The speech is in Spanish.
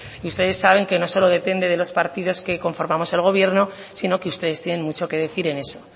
y ustedes saben que no solo depende los partidos que conformamos el gobierno sino que ustedes tienen mucho que decir en eso